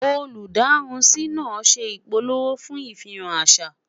olú darunsi nà ṣé ipalemo fún ifihan àṣà